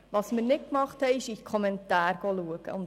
Wir haben jedoch nicht in die Kommentare geschaut.